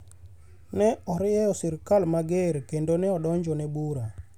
ne orieyo sirkal mager kendo ne odonjone bura